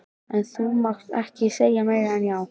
En þú mátt ekki segja meira en já.